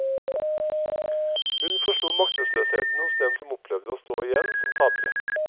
Hun forsto maktesløsheten hos dem som opplevde å stå igjen som tapere.